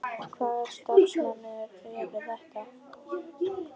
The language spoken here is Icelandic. Hvaða starfsmenn eru þetta?